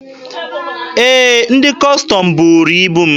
Ee, ndị Kọstọm buuru ibu m.